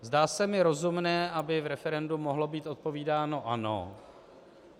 Zdá se mi rozumné, aby v referendu mohlo být odpovídáno ano.